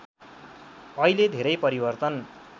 अहिले धेरै परिवर्तन